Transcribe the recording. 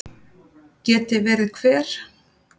Geti verið hver?